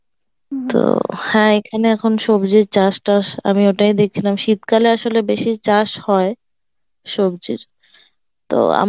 তো হ্যাঁ এখানে আমি দেখছিলাম সবজির চাষ টাষ আমিও তাই দেখছিলাম শীতকালে আসলে বেশি চাষ হয় সবজির তো